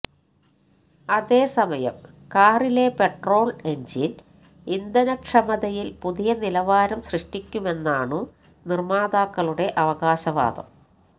അതേസമയം കാറിലെ petrol engine ഇന്ധനക്ഷമതയിൽ പുതിയ നിലവാരം സൃഷ്ടിക്കുമെന്നാണു നിർമാതാക്കളുടെ അവകാശവാദം